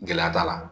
Gɛlɛya b'a la